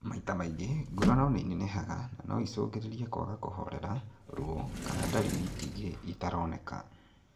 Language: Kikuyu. Maita maingĩ, nguraro nĩinenehaga na no icũngĩrĩrie kwaga kũhorera , ruo kana na ndariri ingĩ itaroneka